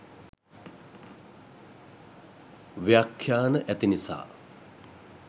ව්‍යක්ඛ්‍යාන ඇති නිසා